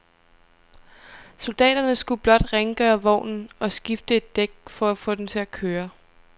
Soldaterne skulle blot rengøre vognen og skifte et dæk for at få den til at køre.